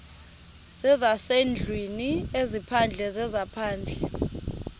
zezasendlwini ezaphandle zezaphandle